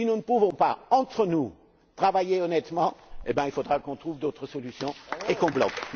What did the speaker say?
manière. Si nous ne pouvons pas, entre nous, travailler honnêtement, eh bien il faudra qu'on trouve d'autres solutions et qu'on bloque.